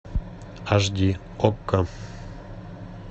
аш ди окко